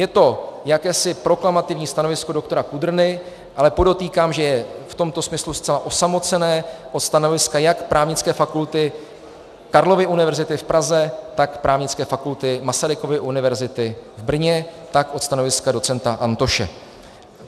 Je to jakési proklamativní stanovisko doktora Kudrny, ale podotýkám, že je v tomto smyslu zcela osamocené od stanoviska jak Právnické fakulty Karlovy univerzity v Praze, tak Právnické fakulty Masarykovy univerzity v Brně, tak od stanoviska docenta Antoše.